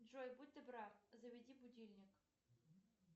джой будь добра заведи будильник